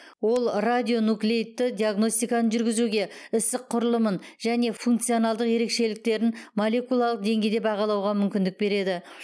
ол радионуклеидті диагностиканы жүргізуге ісік құрылымын және функционалдық ерекшеліктерін молекулалық деңгейде бағалауға мүмкіндік береді